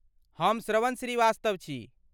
हम श्रवण श्रीवास्तव छी।